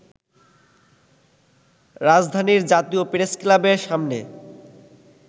রাজধানীর জাতীয় প্রেসক্লাবের সামনে